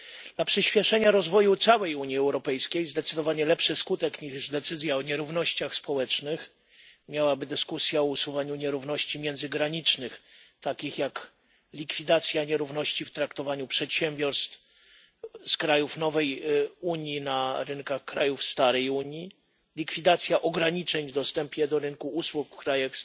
Dla przyśpieszenia rozwoju całej Unii Europejskiej zdecydowanie lepszy skutek niż decyzja o nierównościach społecznych miałaby dyskusja o usuwaniu nierówności międzygranicznych, takim jak likwidacja nierówności w traktowaniu przedsiębiorstw z krajów nowej Unii na rynkach krajów starej Unii, likwidacja ograniczeń w dostępie do rynku usług w krajach